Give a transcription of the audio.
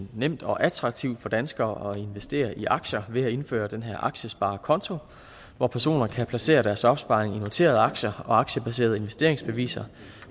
nemt og attraktivt for danskere at investere i aktier ved at indføre den her aktiesparekonto hvor personer kan placere deres opsparing i noterede aktier og aktiebaserede investeringsbeviser